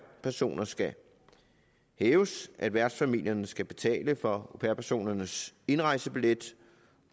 personer skal hæves at værtsfamilierne skal betale for au pair personernes indrejsebillet